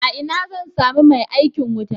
Ina zan sami mai aikin wuta?